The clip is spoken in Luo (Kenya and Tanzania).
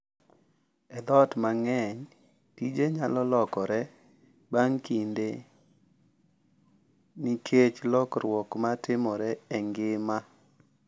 E joot mang’eny, tije nyalo lokore bang’ kinde nikech lokruok ma timore e ngima